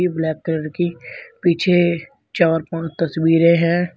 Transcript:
Black colour की पीछे चार पांच तस्वीरे हैं।